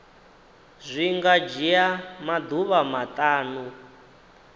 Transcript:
zwi nga dzhia maḓuvha maṱanu